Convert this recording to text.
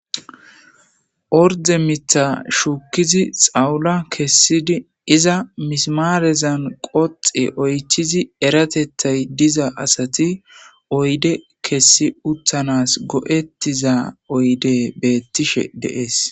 Orde mithan shukidi xawula kesidi iza misimarezan qoxi oythidi eratethay diza asati oyde kesi utanas go'etiza oydey betishe de'ese